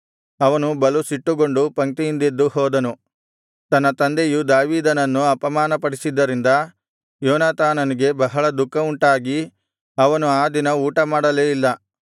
ಅವನು ಬಲು ಸಿಟ್ಟುಗೊಂಡು ಪಂಕ್ತಿಯಿಂದೆದ್ದು ಹೋದನು ತನ್ನ ತಂದೆಯು ದಾವೀದನನ್ನು ಅಪಮಾನಪಡಿಸಿದ್ದರಿಂದ ಯೋನಾತಾನನಿಗೆ ಬಹಳ ದುಃಖವುಂಟಾಗಿ ಅವನು ಆ ದಿನ ಊಟಮಾಡಲೇ ಇಲ್ಲ